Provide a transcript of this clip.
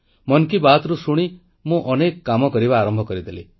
ମନ୍ କୀ ବାତ୍ରୁ ଶୁଣି ମୁଁ ଅନେକ କାମ କରିବା ଆରମ୍ଭ କରିଦେଲି